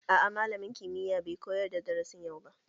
A'a malamin kimiyya bai koyar da darasin yau ba